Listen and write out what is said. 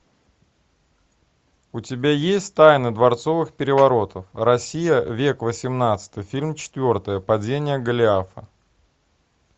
у тебя есть тайны дворцовых переворотов россия век восемнадцатый фильм четвертый падение голиафа